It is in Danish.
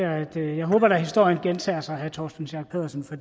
at jeg da håber at historien gentager sig herre torsten schack pedersen for